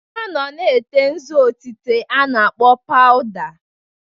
Ha nọ na-ete nzu otite a na-akpọ paụda.